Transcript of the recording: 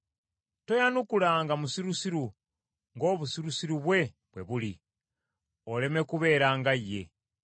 Toyanukulanga musirusiru ng’obusirusiru bwe, bwe buli, oleme kubeera nga ye.